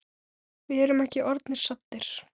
Við erum ekki orðnir saddir.